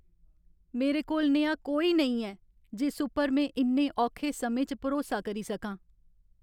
मेरे कोल नेहा कोई नेईं ऐ जिस उप्पर में इन्ने औखे समें च भरोसा करी सकां।